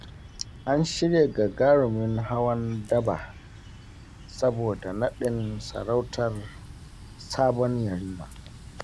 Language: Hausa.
An shirya gagarumin hawan daba, saboda naɗin sarautar sabon Yarima.